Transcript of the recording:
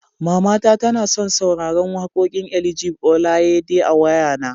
Mamata tana son sauraran wakoƙin Elijah Oyelade a wayana.